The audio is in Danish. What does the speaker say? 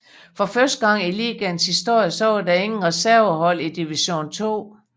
For første gang i ligaens historie var der ingen reservehold i Division 2